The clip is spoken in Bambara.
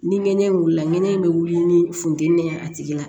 Ni ŋɛɲɛ in wulila ŋɛɲɛ bɛ wuli ni funteni ye a tigi la